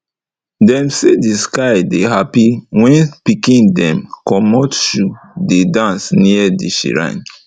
them say the sky dey happy when pikin dem commot shoe dey dance near the shrine